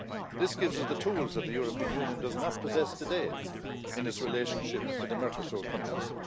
This gives us the tools that the European Union does not possess today in its relationship with the Mercosur countries.